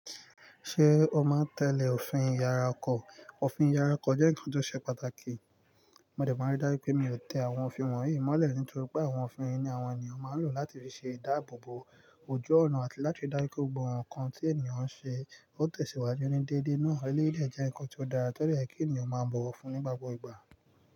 Ṣé o máa ń tẹ̀lé òfin iyàrá ọkọ? Òfin yàrá ọkọ jẹ́ nǹkan tó ṣe pàtàkì. Mo dẹ̀ máa rí dájú pé mi ò tẹ àwọn òfin wọ̀nyí mọ́lẹ̀ nítorí pé àwọn òfin ni àwọn ènìyàn máa ń lò láti rí ṣe ìdáàbòbò ojú ọ̀nà àti láti ríi dájú pé gbogbo nǹkan tí ènìyàn ń ṣe. Ó tẹ̀síwájú ní déédéé náà. Eléyìí dẹ̀ jẹ́ nǹkan tí ó dára tó dẹ̀ yẹ kí ènìyàn máa bọ̀wọ̀ fún nígbà gbogbo ìgbà.